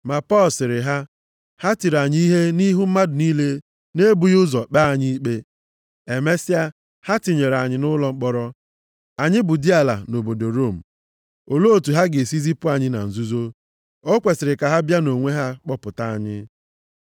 Ma Pọl sịrị ha, “Ha tiri anyị ihe nʼihu mmadụ niile na-ebughị ụzọ kpee anyị ikpe. Emesịa ha tinyere anyị nʼụlọ mkpọrọ. Anyị bụ diala nʼobodo Rom! Olee otu ha ga-esi zipụ anyị na nzuzo. O kwesiri ka ha bịa nʼonwe ha kpọpụta anyị.”